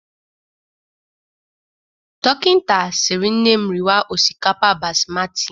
Dokịnta siri nne m riwa osikapa Basmatị.